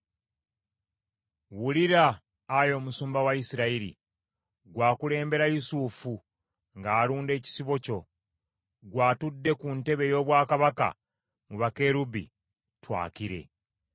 Wulira, Ayi Omusumba wa Isirayiri; ggwe akulembera Yusufu ng’alunda ekisibo kyo; ggwe atudde ku ntebe ey’obwakabaka mu bakerubi, twakire.